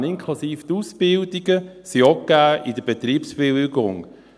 Die Stellenpläne, inklusive Ausbildungen, sind auch gegeben, nämlich in der Betriebsbewilligung.